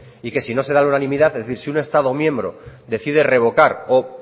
y que si no se da la unanimidad es decir si un estado miembro decide revocar o